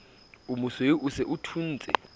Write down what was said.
omosweu o se o thuntse